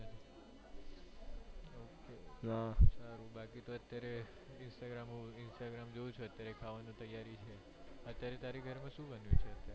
હમ્મ સારું બાકી તો અત્યારે instagram જોઉં છુ ખાવાનું તૈયારી છે અત્યારે તારી ઘેર માં શૂ બન્યું છે અત્યારે